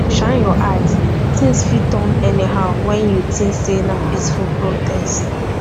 shine your eye tins fit turn anyhow when you tink sey na peaceful protest